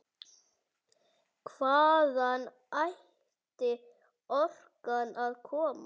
Hvaðan ætti orkan að koma?